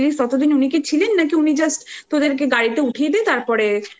ততদিন উনি কি ছিলেন নাকি উনি just তোদেরকে গাড়িতে গাড়িতে উঠিয়ে দিয়ে তারপরে অ